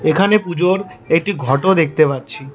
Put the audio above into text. এখানে পুজোর একটি ঘটও দেখতে পাচ্ছি।